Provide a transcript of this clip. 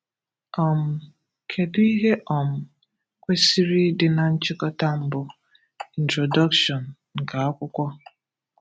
um Kedụ ihe um kwesịrị ịdị na nchịkọta mbụ (introduction) nke akwụkwọ?